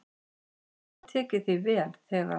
"""Hann hafði tekið því vel, þegar"""